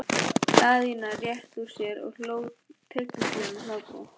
Daðína rétti úr sér og hló tryllingslegum hlátri.